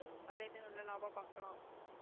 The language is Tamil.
அதுல இருந்து நல்ல லாபம் பார்க்கலாம்